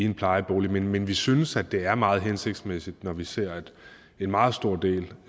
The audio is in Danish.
i en plejebolig men vi synes det er meget hensigtsmæssigt når vi ser at en meget stor del